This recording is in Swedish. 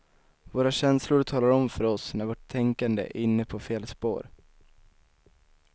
Våra känslor talar om för oss när vårt tänkande är inne på fel spår.